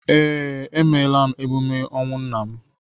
Ee, emeela m emume ọnwụ nna m